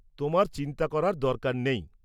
তোমার চিন্তা করার দরকার নেই।